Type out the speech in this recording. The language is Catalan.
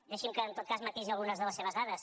deixi’m que en tot cas matisi algunes de les seves dades